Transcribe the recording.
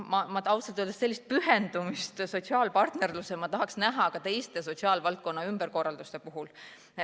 Ausalt öeldes ma tahaks sellist pühendumist sotsiaalpartnerlusele näha ka teiste sotsiaalvaldkonna ümberkorralduste puhul.